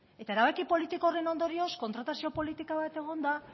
eta erabaki politiko horren ondorioz kontratazio politika bat egon da